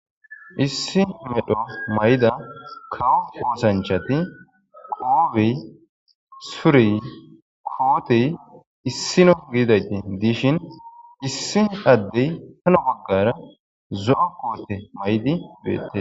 Issi medho mayida kawo oosanchati qoobe sure koote issino gidishin issi ade hini bagara zo'o koote mayida beetes.